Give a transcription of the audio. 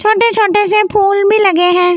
छोटे छोटे से फूल भी लगे हैं।